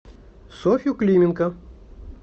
софью клименко